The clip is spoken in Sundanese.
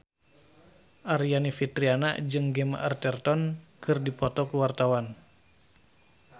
Aryani Fitriana jeung Gemma Arterton keur dipoto ku wartawan